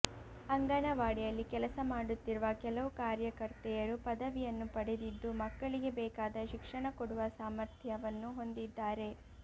ಅಂಗನವಾಡಿಯಲ್ಲಿ ಕೆಲಸ ಮಾಡುತ್ತಿರುವ ಕೆಲವು ಕಾರ್ಯಕರ್ತೆಯರು ಪದವಿಯನ್ನು ಪಡೆದಿದ್ದು ಮಕ್ಕಳಿಗೆ ಬೇಕಾದ ಶಿಕ್ಷಣ ಕೊಡುವ ಸಾಮಥ್ರ್ಯವನ್ನು ಹೊಂದಿದ್ದಾರೆ